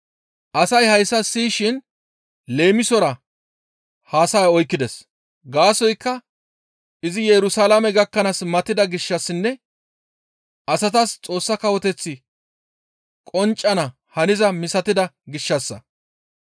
Asay hayssa siyishin leemisora haasaya oykkides; gaasoykka izi Yerusalaame gakkanaas matida gishshassinne asatas Xoossa Kawoteththi qonccana haniza misatida gishshassa.